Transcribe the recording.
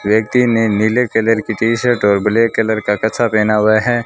व्यक्ति ने नीले कलर की टी शर्ट और ब्लैक कलर का कच्चा पहना हुआ है।